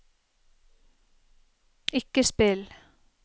ikke spill